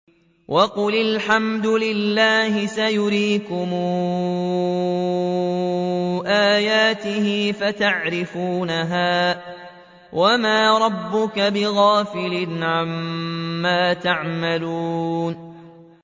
وَقُلِ الْحَمْدُ لِلَّهِ سَيُرِيكُمْ آيَاتِهِ فَتَعْرِفُونَهَا ۚ وَمَا رَبُّكَ بِغَافِلٍ عَمَّا تَعْمَلُونَ